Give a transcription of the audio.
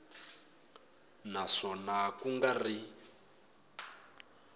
na swona ku nga ri